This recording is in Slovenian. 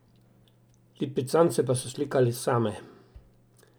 Lipicance pa so slikali same.